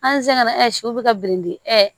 An sɛgɛnna ɛsiw be ka birinbiri ɛ